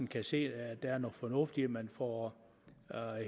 kan se at der er noget fornuft i at man får